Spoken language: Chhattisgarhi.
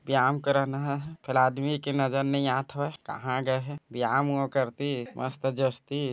बयाम करन हा कल आदमी के नजर नई आत हवय कहा गए हे बयाम ओ करतीच मस्त जचतीस--